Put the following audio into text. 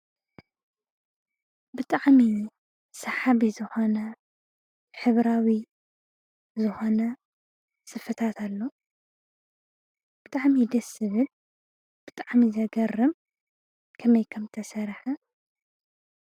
ብጣዕሚ ሰሓቢ!!! ዝኾነ ሕብራዊ ዝኾነ ስፈታት ኣሎ፣ ብጣዕሚ ደስ ዝብል ብጣዕሚ ዘገርም ከመይ ከም ዝተሰረሐ?